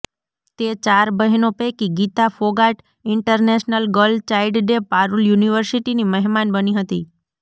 તે ચાર બહેનો પૈકી Geeta Phogat international girl child day Parul યુનિવર્સિટીની મહેમાન બની હતી